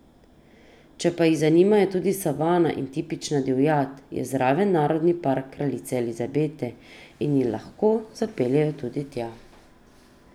Če pa jih zanimajo tudi savana in tipična divjad, je zraven narodni park kraljice Elizabete in jih lahko zapeljemo tudi tja.